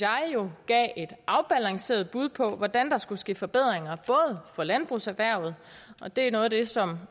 gav et afbalanceret bud på hvordan der skulle ske forbedringer for landbrugserhvervet og det er noget af det som